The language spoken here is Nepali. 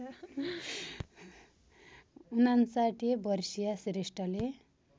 ५९ वर्षीय श्रेष्ठले